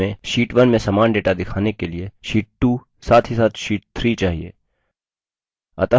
अब हमें sheet 2 में समान data दिखाने के लिए sheet 2 साथ ही साथ sheet 3 चाहिए